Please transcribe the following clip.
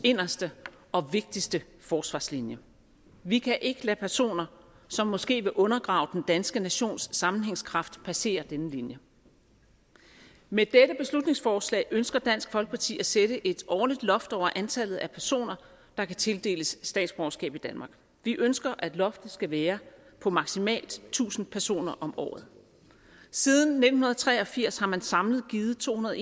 inderste og vigtigste forsvarslinje vi kan ikke lade personer som måske vil undergrave den danske nations sammenhængskraft passere denne linje med dette beslutningsforslag ønsker dansk folkeparti at sætte et årligt loft over antallet af personer der kan tildeles statsborgerskab i danmark vi ønsker at loftet skal være på maksimalt tusind personer om året siden nitten tre og firs har man samlet givet tohundrede